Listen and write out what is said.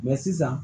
sisan